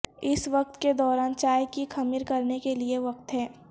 اس وقت کے دوران چائے کی خمیر کرنے کے لئے وقت ہے